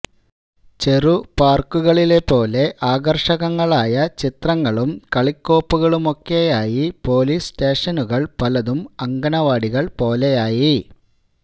ചെറു പാർക്കുകളിലെപ്പോലെ ആകർഷകങ്ങളായ ചിത്രങ്ങളും കളിക്കോപ്പുകളുമൊക്കെയായി പോലീസ് സ്റ്റേഷനുകൾ പലതും അങ്കണവാടികൾപോലെയായി